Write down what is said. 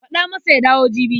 Faɗa masa ya dawo jibi.